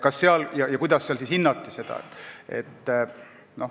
Kõik sõltub sellest, kuidas seal seda hinnati.